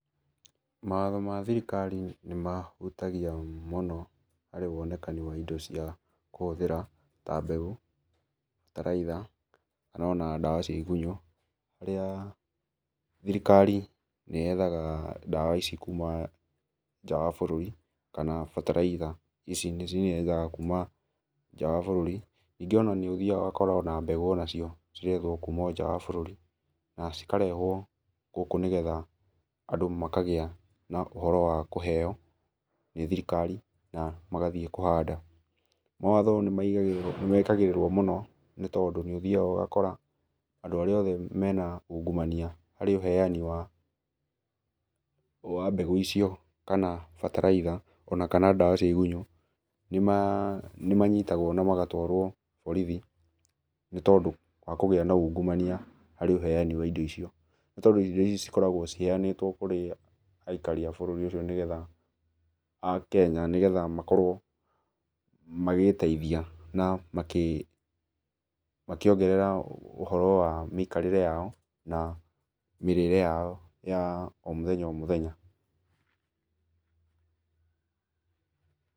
Mawatho ma thirikari nĩ mahutagia mũno harĩ wonekani wa indo cia kũhũthĩra, ta mbegũ, bataraitha kana ona ndawa cia igunyũ. Harĩa thirikari nĩ yethaga ndawa ici kuma nja wa bũrũri kana bataraitha ici nĩyethaga kuma nja wa bũrũri. Ningĩ ona nĩ ũthiaga ũgakora ona mbegũ ona cio cirethwo kuma nja wa bũrũri na cikarehwo gũkũ nĩgetha andũ makagĩa na ũhoro wa kũheo nĩ thirikari na magathiĩ kũhanda. Mawatho nĩ mekagĩrĩrwo mũno nĩ tondũ nĩ ũthiaga ũgakora andũ arĩa othe mena ungumania harĩ uheani wa mbegũ icio kana bataraitha, ona kana ndawa cia igunyũ, nĩ manyitagwo na magatwarwo borithi nĩ tondũ wa kũgĩa na ungumania harĩ ũheani wa indo icio. Nĩ tondũ indo icio cikoragwo ciheanĩtwo kũrĩ aikari a bũrũri ũcio nĩgetha, a Kenya, nĩgetha makorwo magĩĩteithia na makĩongerera ũhoro wa mĩikarĩre yao na mĩrĩre yao ya, o mũthenya o mũthenya.